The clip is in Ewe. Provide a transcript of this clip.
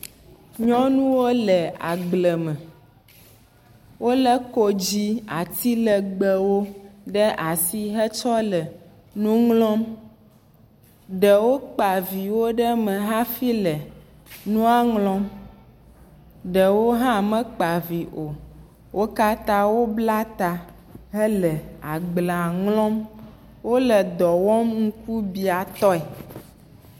Nyɔnuwo le agble me. Wolé kodzi, ati legbẽwo ɖe asi hetsɔ le nu ŋlɔm. Ɖewo kpa viwo ɖe me hafi le nua ŋlɔm. Ɖewo hã mekpa vi o. Wo katã wobla ta hele agblea ŋlɔm. Wole dɔ wɔm ŋkubiatɔe.